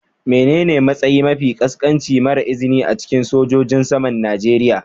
Menene matsayi mafi ƙasƙanci mara izini a cikin sojojin saman Najeriya.?